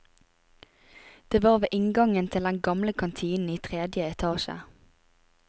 Det var ved inngangen til den gamle kantinen i tredje etasje.